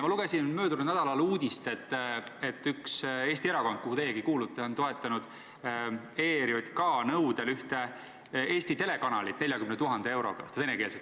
Ma lugesin möödunud nädalal uudist, et üks Eesti erakond, kuhu teiegi kuulute, on toetanud ERJK nõudel ühte Eesti venekeelset telekanalit 40 000 euroga.